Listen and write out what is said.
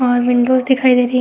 और विंडोस दिखाइ दे रही है।